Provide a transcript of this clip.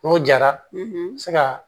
N'o jara n bɛ se ka